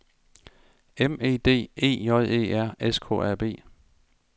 M E D E J E R S K A B